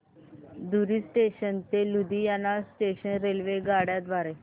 धुरी junction ते Ludhiana junction रेल्वेगाड्यां द्वारे